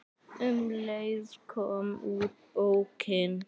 Um leið kom út bókin